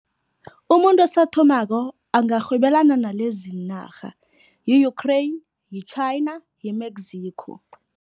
Umuntu osathomako angarhwebelana naleziinarha, yi-Ukraine, yi-China, yi-Mexico.